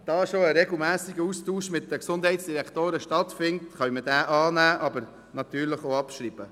Da schon ein regelmässiger Austausch mit den Gesundheitsdirektoren stattfindet, können wir diesen annehmen, aber natürlich auch abschreiben.